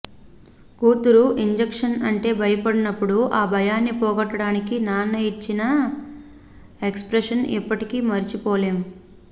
కూతురు ఇంజక్షన్ అంటే భయపడ్డప్పుడు ఆ భయాన్ని పోగొట్టడానికి నాన్న ఇచ్చిన ఎక్స్ ప్రెషన్ ఎప్పటికీ మర్చిపోలేం